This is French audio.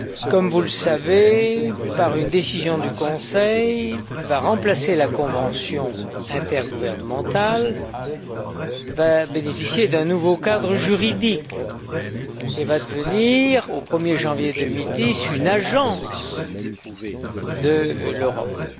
comme vous le savez, par une décision du Conseil qui va remplacer la convention intergouvernementale va bénéficier d'un nouveau cadre juridique et va devenir, au 1 er janvier 2010, une agence européenne.